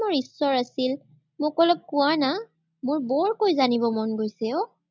ধৰ্মৰ ঈশ্বৰ আছিল, মোক অলপ কোৱানা, মোৰ বৰকৈ জানিব মন গৈছে অ।